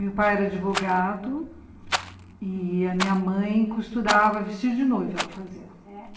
Meu pai era advogado e a minha mãe costurava vestido de noiva, ela fazia. Eh